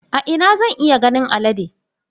A ina ne zan iya ganin alade?